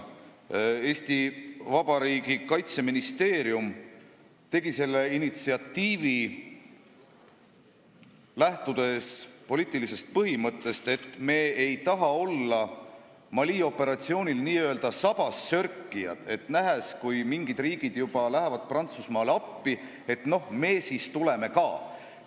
Eesti Vabariigi Kaitseministeerium tegi selle initsiatiivi, lähtudes poliitilisest põhimõttest, et me ei taha olla Mali operatsioonil teiste sabas sörkija, kes alles nähes, et mingid riigid juba lähevad Prantsusmaale appi, otsustab, et me siis tuleme ka.